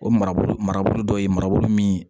O marabolo marabolo dɔ ye marabolo min